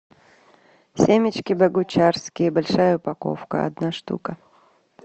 семечки богучарские большая упаковка одна штука